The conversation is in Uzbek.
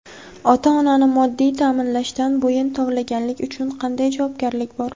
Ota-onani moddiy taʼminlashdan bo‘yin tovlaganlik uchun qanday javobgarlik bor?.